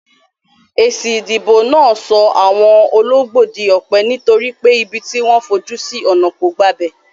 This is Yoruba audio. Èsì ìdìbò náà so àwon ologbó dí òpè, nítorí pé ibi tí wón fojú sí ònà kò gbabè